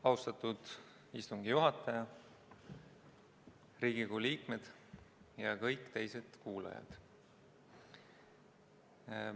Austatud istungi juhataja, Riigikogu liikmed ja kõik teised kuulajad!